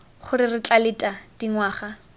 gore re tla leta dingwaga